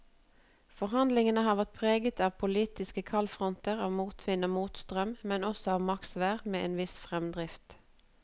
Forhandlingene har vært preget av politiske kaldfronter, av motvind og motstrøm, men også av maksvær med en viss fremdrift.